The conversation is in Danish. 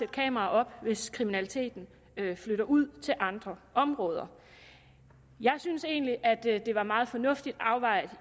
kameraer op hvis kriminaliteten flytter ud til andre områder jeg synes egentlig at det var meget fornuftigt afvejet